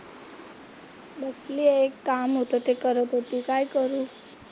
बसलीये एक काम होतं ते करत होती काय करू?